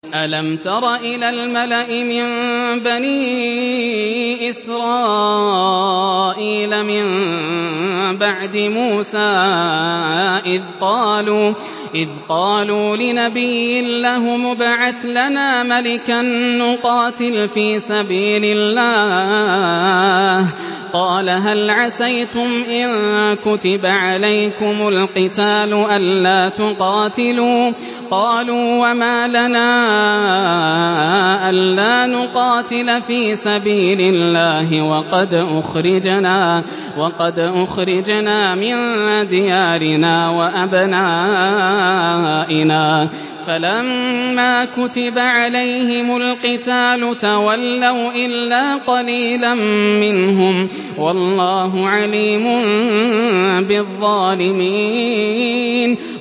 أَلَمْ تَرَ إِلَى الْمَلَإِ مِن بَنِي إِسْرَائِيلَ مِن بَعْدِ مُوسَىٰ إِذْ قَالُوا لِنَبِيٍّ لَّهُمُ ابْعَثْ لَنَا مَلِكًا نُّقَاتِلْ فِي سَبِيلِ اللَّهِ ۖ قَالَ هَلْ عَسَيْتُمْ إِن كُتِبَ عَلَيْكُمُ الْقِتَالُ أَلَّا تُقَاتِلُوا ۖ قَالُوا وَمَا لَنَا أَلَّا نُقَاتِلَ فِي سَبِيلِ اللَّهِ وَقَدْ أُخْرِجْنَا مِن دِيَارِنَا وَأَبْنَائِنَا ۖ فَلَمَّا كُتِبَ عَلَيْهِمُ الْقِتَالُ تَوَلَّوْا إِلَّا قَلِيلًا مِّنْهُمْ ۗ وَاللَّهُ عَلِيمٌ بِالظَّالِمِينَ